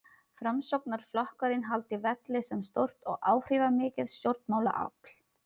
Framsóknarflokkurinn haldi velli sem stórt og áhrifamikið stjórnmálaafl.